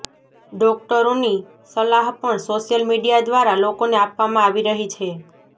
ડોકટરોની સલાહ પણ સોશિયલ મીડિયા દ્વારા લોકોને આપવામાં આવી રહી છે